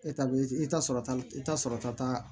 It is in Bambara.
E ta bɛ i ta sɔrɔ i ta sɔrɔ ta